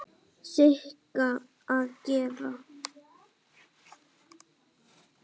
Sigga að gera?